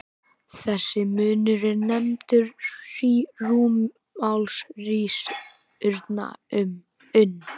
Þessi munur er nefndur rúmmálsrýrnun.